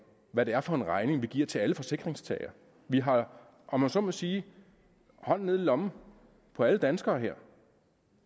hvad det er for en regning vi giver til alle forsikringstagere vi har om jeg så må sige hånden nede i lommen på alle danskere her